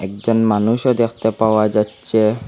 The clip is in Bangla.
একজন মানুষও দেখতে পাওয়া যাচ্ছে।